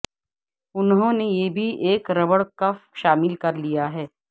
انہوں نے یہ بھی ایک ربڑ کف شامل کر لیا ہے